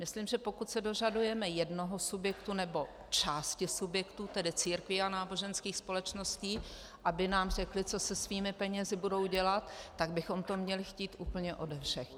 Myslím, že pokud se dožadujeme jednoho subjektu, nebo části subjektu, tedy církví a náboženských společností, aby nám řekl, co se svými penězi bude dělat, tak bychom to měli chtít úplně ode všech.